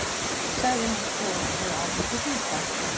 sagði hann svo með áhersluþunga.